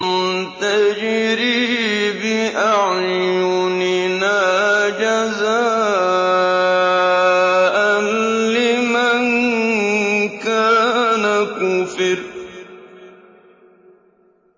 تَجْرِي بِأَعْيُنِنَا جَزَاءً لِّمَن كَانَ كُفِرَ